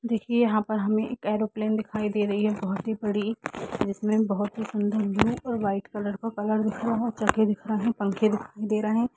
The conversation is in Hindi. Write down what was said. देखिए यहां पर हमे एक एयरोप्लेन दिखाई दे रही है बहुत ही बड़ी जिसमे बहुत सुंदर ब्लू और व्हाइट कलर का कलर दिख रहा है पंखे दिखाई दे रहे है।